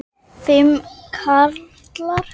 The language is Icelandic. Þóra: Fimm karlar?